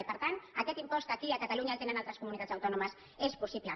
i per tant aquest impost aquí a catalunya el tenen altres comunitats autònomes és possible